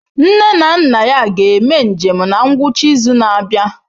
Nne na nna ya ga-eme njem na ngwụcha izu na-abịa.